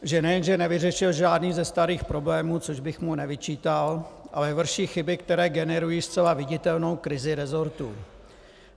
Že nejenže nevyřešil žádný ze starých problémů, což bych mu nevyčítal, ale vrší chyby, které generují zcela viditelnou krizi resortu.